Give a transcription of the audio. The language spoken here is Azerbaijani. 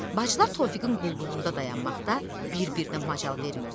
Bacılar Tofiqin qulluğunda dayanmaqda bir-birinə macal vermirdilər.